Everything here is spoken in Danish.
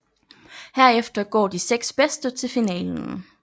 Herefter går de seks bedste til finalen